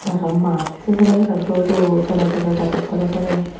aro maat se sere sere dho dho tole tole gajor tole tole.